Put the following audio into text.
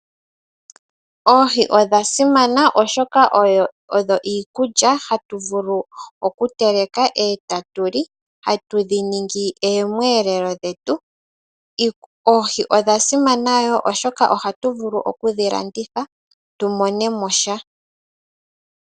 Oohi odha simana oshoka odho iikulya hatu vulu okuteleka eta tuli. Hatu dhi ningi oomweelelo dhetu. Oohi odha simana wo oshoka ohatu vulu okudhi landitha tu mone mo sha.